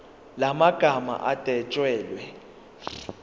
la magama adwetshelwe